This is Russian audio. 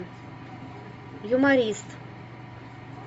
юморист